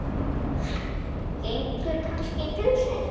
Gengur kannski í pilsi?